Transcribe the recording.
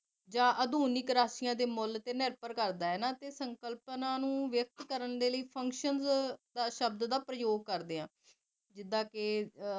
ਜਾ ਆਧੁਨਿਕ ਰਾਸ਼ੀਆਂ ਦੇ ਮੁਲ ਤੇ ਨਿਰਭਰ ਕਰਦਾ ਹਨਾ ਸੰਕਲਪਨਾ ਨੂੰ ਵਿਪਤ ਕਰਨ ਦੇ ਲਈ ਸ਼ਬਦ ਦਾ ਪ੍ਰਯੋਗ ਕਰਦੇ ਆ ਜਿਦਾ ਕਿ